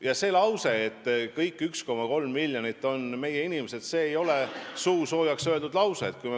Ja see lause, et kõik 1,3 miljonit on meie inimesed, ei olnud suusoojaks öeldud lause.